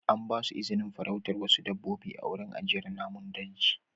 An ba su izinin farautar wasu dabbobi a wurin ajiyar namun daji.